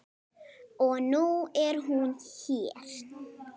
Og nú er hún hér.